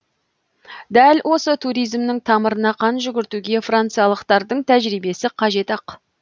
дәл осы туризмнің тамырына қан жүгіртуге франциялықтардың тәжірибесі қажет ақ